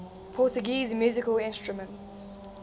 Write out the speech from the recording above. portuguese musical instruments